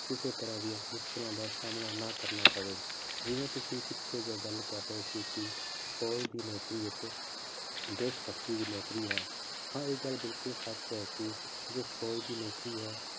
ਕਿਸੇ ਤਰ੍ਹਾਂ ਦੀਆਂ ਮੁਸ਼ਕਲਾਂ ਦਾ ਸਾਹਮਣਾ ਨਾ ਕਰਨਾ ਪਵੇ, ਜਿਵੇਂ ਤੁਸੀਂ ਪਿੱਛੇ ਜਿਹੇ ਗੱਲ ਕਰ ਰਹੇ ਸੀ ਕਿ ਫੌਜ਼ ਦੀ ਨੌਕਰੀ ਇੱਕ ਦੇਸ ਭਗਤੀ ਦੀ ਨੌਕਰੀ ਹੈ ਹਾਂ ਇਹ ਗੱਲ ਬਿਲਕੁਲ ਸੱਚ ਹੈ ਕਿ ਜੋ ਫੌਜ਼ ਦੀ ਨੌਕਰੀ ਹੈ